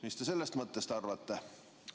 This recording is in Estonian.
Mis te sellest mõttest arvate?